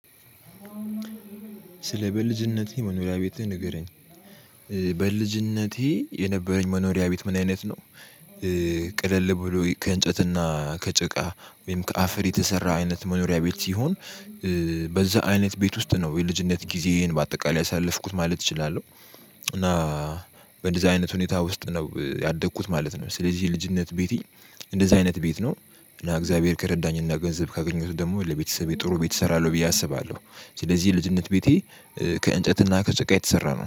ስለ በልጅነቴ መኖሪያ ቤትህ ንገረኝ። በልጅነቴ የነበረኝ መኖሪያ ቤት ምን አይነት ነው? ቅልል ብሎ ከእንጨትና ከጭቃ ወይም ከአፈር የተሰራ አይነት መኖሪያ ቤት ሲሆን በዛ አይነት ቤት ውስጥ ነው የልጅነት ጊዜዬን በአጠቃላይ ያሳለፍኩት ማለት እችላለሁ። እና በእንደዚህ አይነት ሁኔታ ውስጥ ነው ያደግኩት ማለት ነው። ስለዚህ የልጅነት ቤቴ እንደዚህ አይነት ቤት ነው። እና እግዚአብሔር ከረዳኝ እና ገንዘብ ካገኘሁት ደግሞ ለቤተሰቤ ጥሩ ቤት እሰራለሁ ብዬ አስባለሁ። ስለዚህ ልጅነት ቤቴ ከእንጨትና ከጭቃ የተሰራ ነው።